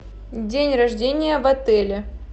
день рождения в отеле